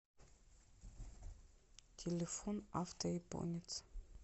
телефон авто японец